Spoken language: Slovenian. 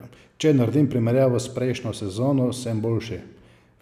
Če naredim primerjavo s prejšnjo sezono, sem boljši.